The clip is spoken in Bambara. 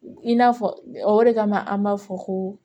I n'a fɔ o de kama an b'a fɔ ko